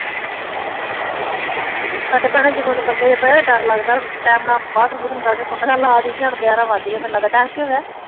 ਸਾਡੇ ਬੰਦੇ ਭੈਣਾ ਜਦੋਂ ਦੇ ਬੰਦੇ ਪਏ ਡਰ ਲੱਗਦਾ ਹੁਣ ਟਾਈਮ ਨਾਲੇ ਬਾਥਰੂਮ ਬੂਥਰੂਮ ਕਰ ਕੇ ਕੁੰਡਿਆ ਲਾ ਦਈ ਦੀਆ ਹੁਣ ਗਿਆਰਾਂ ਵਜ ਗਏ ਟਾਈਮ ਕੀ ਹੋ ਗਯਾ